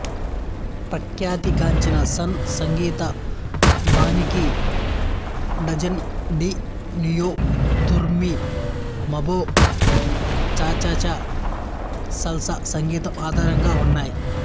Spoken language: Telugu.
ప్రఖ్యాతి గాంచిన సన్ సంగీతబాణికి డాంజన్ డీ న్యువొ రిత్మొ మాంబొ చాచాచా సల్సా సంగీతం ఆధారంగా ఉన్నాయి